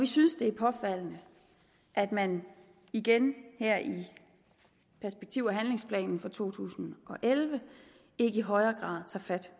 synes det er påfaldende at man igen her i perspektiv og handlingsplanen for to tusind og elleve ikke i højere grad tager fat